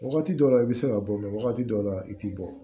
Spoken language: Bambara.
Wagati dɔ la i bɛ se ka bɔ wagati dɔw la i tɛ bɔ